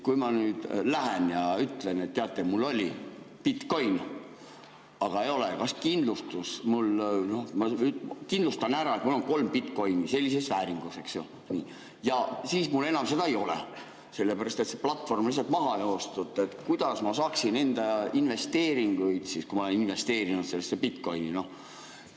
Kui ma nüüd lähen ja ütlen, et teate, mul oli bitcoin, aga enam ei ole, noh, ma kindlustan ära, et mul on kolm bitcoin'i sellises vääringus, eks ju, ja siis mul enam neid ei ole, sellepärast et see platvorm on lihtsalt maha joostud, kuidas ma saaksin enda investeeringuid siis, kui ma olen investeerinud sellesse bitcoin'i?